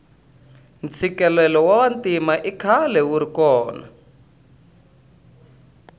ntshikelelo wa vantima ikhale wuri kona